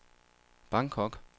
Bangkok